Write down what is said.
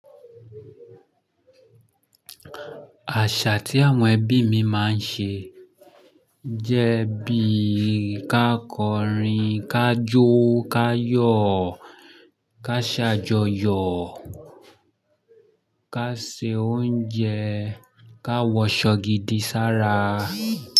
Àṣà tí àwọn ẹbí mi máa ń ṣe jẹ́ bí ká kọrin, ká jó, ká yọ̀, ká ṣàjọyọ̀, ká se oúnjẹ, ká wọṣọ gidi sára.